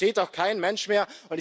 Das versteht doch kein Mensch mehr!